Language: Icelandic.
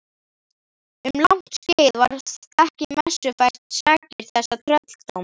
Um langt skeið var ekki messufært sakir þessa trölldóms.